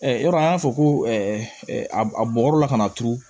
yɔrɔ an y'a fɔ ko a bɔbɔ la kana turu